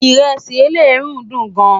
iresi eleruu dùn gán